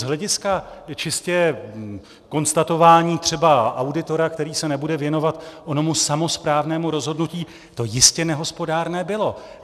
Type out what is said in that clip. Z hlediska čistě konstatování třeba auditora, který se nebude věnovat onomu samosprávnému rozhodnutí, to jistě nehospodárné bylo.